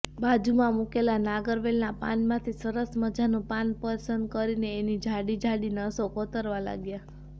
બાજુમાં મૂકેલાં નાગરવેલનાં પાનમાંથી સરસ મઝાનું પાન પસંદ કરીને એની જાડી જાડી નસો કોતરવા લાગ્યા